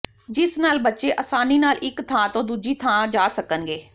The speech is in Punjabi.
ਜਿਸ ਨਾਲ ਬੱਚੇ ਆਸਾਨੀ ਨਾਲ ਇਕ ਥਾਂ ਤੋਂ ਦੂਜੀ ਥਾਂ ਜਾ ਸਕਣਗੇ